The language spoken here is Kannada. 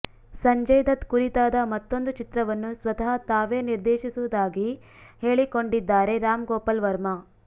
ಸಂಜಯ್ ದತ್ ಕುರಿತಾದ ಮತ್ತೊಂದು ಚಿತ್ರವನ್ನು ಸ್ವತಃ ತಾವೇ ನಿರ್ದೇಶಿಸುವುದಾಗಿ ಹೇಳಿಕೊಂಡಿದ್ದಾರೆ ರಾಮ್ ಗೋಪಾಲ್ ವರ್ಮಾ